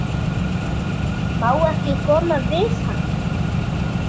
Má ekki koma við hann?